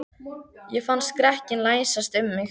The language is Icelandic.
Ég fann skrekkinn læsast um mig.